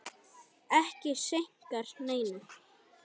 Ekki skeikar neinu.